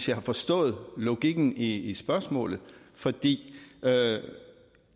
jeg har forstået logikken i i spørgsmålet fordi